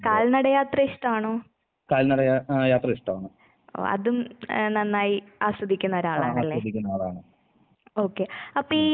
കാൽനടയാ ഏഹ് യാത്ര ഇഷ്ടവാണ്. ആഹ് ആസ്വദിക്കുന്ന ആളാണ്. ഉം.